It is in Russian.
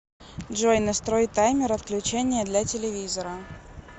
джой настрой таймер отключения для телевизора